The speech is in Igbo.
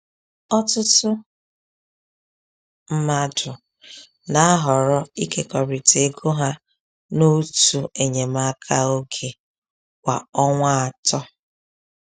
Ọtụtụ mmadụ na-ahọrọ ịkekọrịta ego ha na òtù enyemaka oge kwa ọnwa atọ.